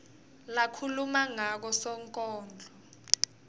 lakhuluma ngako sonkondlo